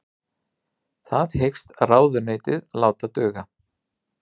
Það hyggst ráðuneytið láta duga